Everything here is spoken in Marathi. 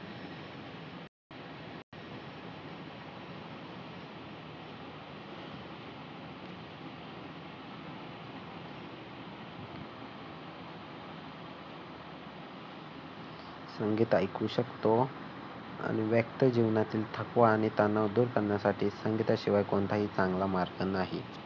संगीत ऐकू शकतो आणि व्यक्त जीवनातील थकवा आणि तणाव दूर करण्यासाठी संगीताशिवाय कोणताही चांगला मार्ग नाही.